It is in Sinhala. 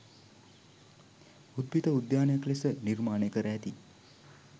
උද්භිද උද්‍යානයක් ලෙස නිර්මාණය කර ඇති